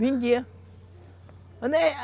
Vendia.